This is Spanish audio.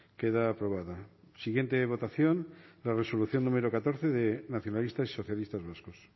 queda aprobada siguiente votación la resolución número catorce de nacionalistas y socialistas vascos